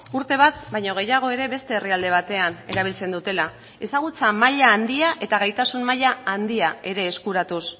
urte bat baino gehiago ere beste herrialde batean erabiltzen dutela ezagutza maila handia eta gaitasun maila handia ere eskuratuz